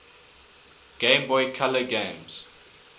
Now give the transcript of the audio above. game boy color games